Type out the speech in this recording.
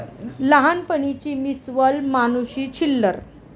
लहानपणीची Miss World Manushi Chhillar!